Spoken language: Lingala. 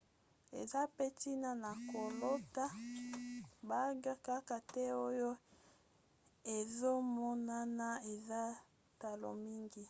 eza mpe ntina na kolata bague kaka te oyo ezomonana eza talo mingi